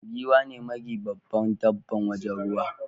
Giwa ne magi babban dabban wajen ruwa.